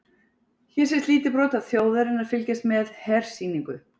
Hér sést lítið brot þjóðarinnar fylgjast með hersýningu.